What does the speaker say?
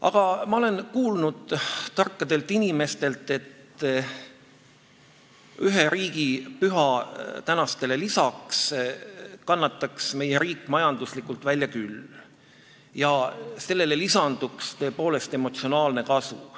Aga ma olen kuulnud tarkadelt inimestelt, et ühe riigipüha senistele lisaks kannataks meie riik majanduslikult välja küll ja sellele lisanduks tõepoolest emotsionaalne kasu.